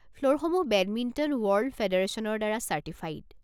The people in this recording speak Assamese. ফ্ল'ৰসমূহ বেডমিণ্টন ৱৰ্ল্ড ফে'ডাৰচনৰ দ্বাৰা চাৰ্টিফাইড।